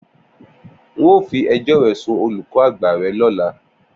N óò fi ejó re sun olùkó àgbà re lóla!